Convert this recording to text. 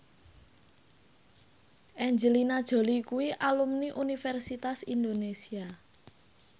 Angelina Jolie kuwi alumni Universitas Indonesia